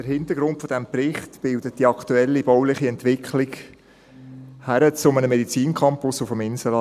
der BaK. Den Hintergrund dieses Berichts bildet die aktuelle bauliche Entwicklung hin zu einem Medizincampus auf dem Inselareal.